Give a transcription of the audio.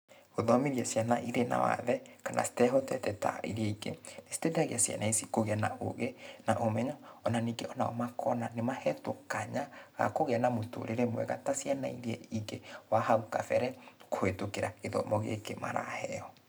Gũthomithia ciana irĩ na wathe, kana citehotete ta iria ingĩ, nĩciteithagia ciana ici kũgĩa na ũgĩ, na ũmenyo, ona ningĩ onao makona nĩmahetũo kanya, ga kũgĩa na mũtũrĩre mwega ta ciana iria ingĩ wa hau kabere, kũhĩtũkĩra gĩthomo gĩkĩ maraheo.